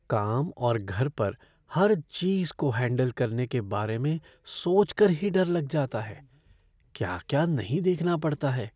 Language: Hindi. काम और घर पर हर चीज़ को हैंडल करने के बारे में सोचकर ही डर लग जाता है। क्या क्या नहीं देखना पड़ता है।